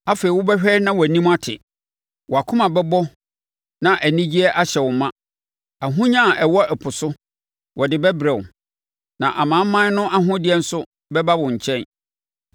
Afei wobɛhwɛ na wʼanim ate, wʼakoma bɛbɔ na anigyeɛ ahyɛ no ma; ahonya a ɛwɔ ɛpo so, wɔde bɛbrɛ wo, na amanaman no ahodeɛ nso bɛba wo nkyɛn.